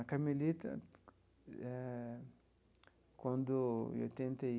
A Carmelita eh, quando eu tentei